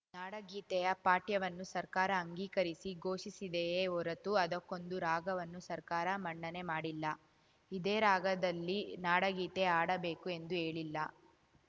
ನಾಡಗೀತೆಯ ಪಠ್ಯವನ್ನು ಸರ್ಕಾರ ಅಂಗೀಕರಿಸಿ ಘೋಷಿಸಿದೆಯೇ ಹೊರತು ಅದಕ್ಕೊಂದು ರಾಗವನ್ನು ಸರ್ಕಾರ ಮನ್ನಣೆ ಮಾಡಿಲ್ಲ ಇದೇ ರಾಗದಲ್ಲಿ ನಾಡಗೀತೆ ಹಾಡಬೇಕು ಎಂದು ಹೇಳಿಲ್ಲ